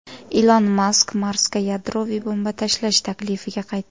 Ilon Mask Marsga yadroviy bomba tashlash taklifiga qaytdi.